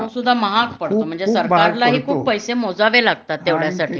तो सुद्धा महाग पडतो म्हणजे सरकारलाही खूप पैसे मोजावे लागतात तेवढ्यासाठी